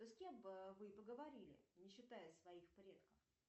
с кем бы вы поговорили не считая своих предков